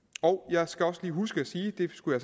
jeg skal også lige huske at sige det skulle